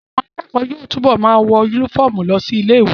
Àwọn akẹ́kọ̀ọ́ yóò túbọ̀ ma wọ yúnífọ̀mù lọ sí ilé ìwé